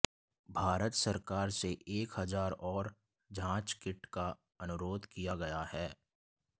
भारत सरकार से एक हजार और जाँच किट का अनुरोध किया गया है